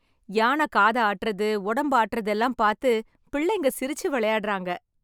யான காத ஆட்டறது, உடம்ப ஆட்டறது எல்லாம் பார்த்து பிள்ளைங்க சிரிச்சு விளையாடறாங்க.